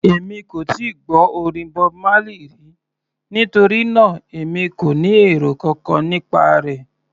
Èmi kò tíì gbọ́ orin Bob Marley rí, nítorí náà èmi kò ní èrò kankan nípa rẹ̀.